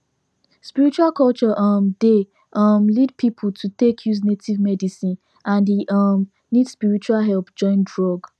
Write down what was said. spiritual culture um dey um lead people to take use native medicine and e um need spiritual help join drug